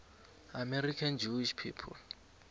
american jewish people